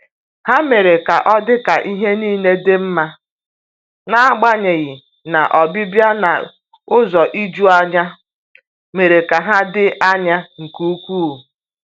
Ha mere ka ọdị ka ihe niile dị mma, n'agbanyeghi na ọbịbịa n’ụzọ ijuanya mere ka ha dị anya nke ukwuu.